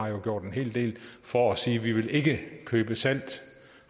jo har gjort en hel del for at sige vi vil ikke købe salt